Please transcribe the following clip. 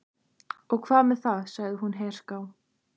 Og hvað með það? sagði hún herská.